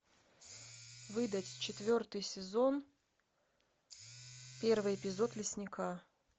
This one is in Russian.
выдать четвертый сезон первый эпизод лесника